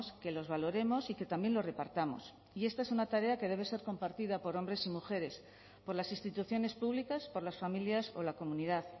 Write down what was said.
que los valoremos y que también lo repartamos y esta es una tarea que debe ser compartida por hombres y mujeres por las instituciones públicas por las familias o la comunidad